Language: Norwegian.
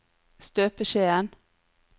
støpeskjeen